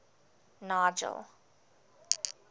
nigel